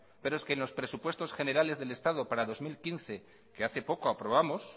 pero es que en los presupuestos generales del estado para el dos mil quince que hace poco aprobamos